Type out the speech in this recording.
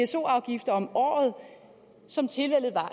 pso afgifter om året